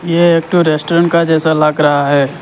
यह एक ठो रेस्टोरेंट के जैसा लग रहा है।